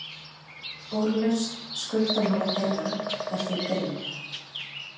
Úrlausn skuldamála þeirra er því brýn.